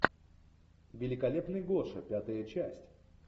великолепный гоша пятая часть